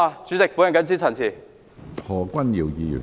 主席，我謹此陳辭。